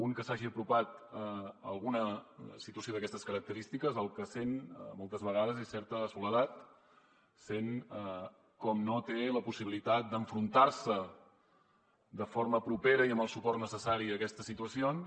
un que s’hagi apropat a alguna situació d’aquestes característiques el que sent moltes vegades és certa soledat sent com no té la possibilitat d’enfrontar se de forma propera i amb el suport necessari a aquestes situacions